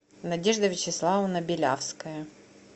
надежда вячеславовна белявская